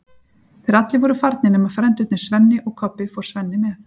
Þegar allir voru farnir nema frændurnir Svenni og Kobbi fór Svenni með